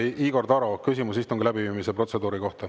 Igor Taro, küsimus istungi läbiviimise protseduuri kohta.